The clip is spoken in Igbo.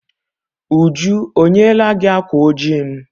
Uju o nyela gi ákwà oji m?